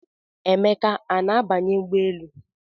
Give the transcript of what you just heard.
Emeka a na-abanye ụgbọelu?